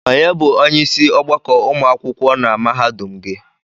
Onye by onyeisi ọgbakọ ụmụ akwụkwọ na mahadum gị?